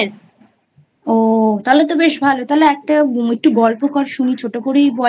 ও তাহলে তো বেশ ভালো তাহলে একটাএকটু গল্প কর শুনি ছোট করেই বল।